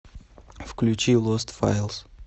включи лост файлс